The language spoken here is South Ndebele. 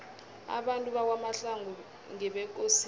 abantu bakwamahlangu ngebekosini